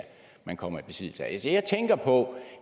man kommer i besiddelse af altså jeg tænker på